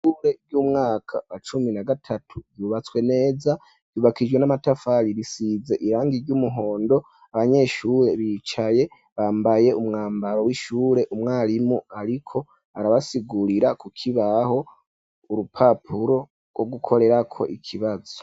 Ishure ryu mwaka wa cumi na gatatu ryubatswe neza ryubakishijwe n'amatafali risize irangi ry'umuhondo abanyeshure bicaye bambaye umwambaro w'ishure umwarimu ariko arabasigurira ku kibaho urupapuro rwo gukorerako ikibazo.